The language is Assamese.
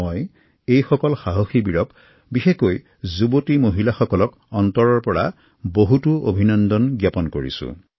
মই এইসকল সাহসী লোক বিশেষকৈ যুৱতী আৰু মহিলাসকলক অন্তৰৰ পৰা বহুতো অভিনন্দন জ্ঞাপন কৰিছো